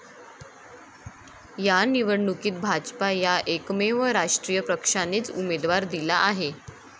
या निवडणुकीत भाजपा या एकमेव राष्ट्रीय पक्षानेच उमेदवार दिला आहे.